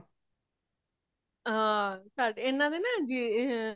ਹਾਂ ਈਨਾਦੇ ਨਾ ਜੀ ਹੈ